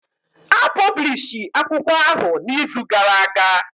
A pọblishi akwụkwọ ahụ na izu gara aga